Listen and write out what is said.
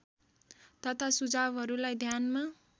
तथा सुझावहरूलाई ध्यानमा